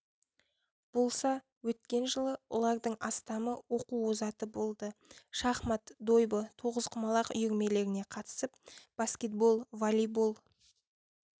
болса өткен жылы олардың астамы оқу озаты болды шахмат дойбы тоғызқұмалақ үйірмелеріне қатысып баскетбол волейбол